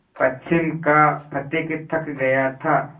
पश्चिम का पथिक थक गया था